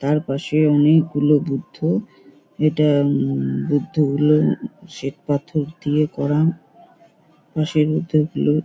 তার পাশে অনেকগুলো বুদ্ধ। এটা অম বুদ্ধ হলেও শ্বেতপাথর দিয়ে করাম। পাশের বুদ্ধগুলো--